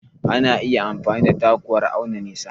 Ana iya amfani da taku wurin auna nisa.